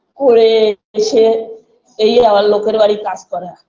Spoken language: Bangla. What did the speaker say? করে এসে এই আবার লোকের বাড়ি কাজ করা